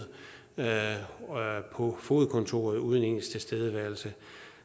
på fogedkontoret uden ens tilstedeværelse